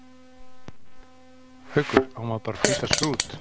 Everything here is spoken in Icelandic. Haukur: Á maður bara að flýta sér út?